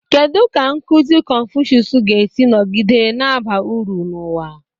Kedu ka nkuzi Confucius ga-esi nọgide na-aba uru n'ụwa?